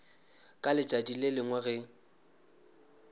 ka letšatši le lengwe ge